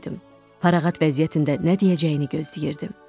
Paraqat vəziyyətində nə deyəcəyini gözləyirdim.